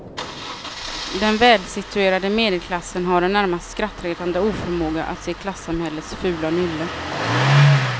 Den välsituerade medelklassen har en närmast skrattretande oförmåga att se klasssamhällets fula nylle.